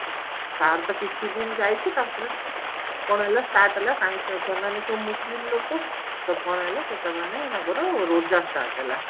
ଆଉ ତ କିଛି ଦିନ ଯାଇଛି ତାପରେ କଣ ହେଲା start ହେଲା ସେମାନେ ସବୁ ମୁସଲିମ ଲୋକ ତ କଣ ହେଲା ସେମାନେ ତାଙ୍କର ରୋଜା start ହେଲା